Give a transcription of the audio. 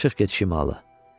Çıx get şimala.